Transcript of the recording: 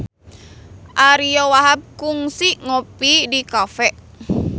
Ariyo Wahab kungsi ngopi di cafe